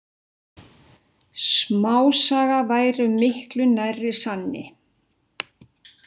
Smásaga væri miklu nær sanni.